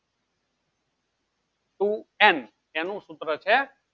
two n એનું સુત્ર છે